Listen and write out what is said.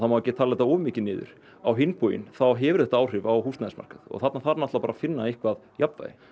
má ekki tala þetta of mikið niður á hinn bóginn þá hefur þetta áhrif á húsnæðismarkað og þarna þarf að finna eitthvað jafnvægi